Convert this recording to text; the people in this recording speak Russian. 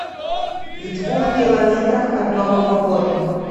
в двух километрах от нового года